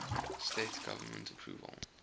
states government approval